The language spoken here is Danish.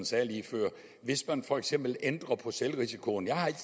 sagde lige før hvis man for eksempel ændrede på selvrisikoen jeg har ikke